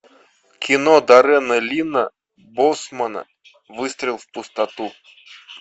кино даррена лина боусмана выстрел в пустоту